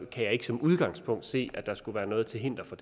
kan jeg som udgangspunkt ikke se at der skulle være noget til hinder for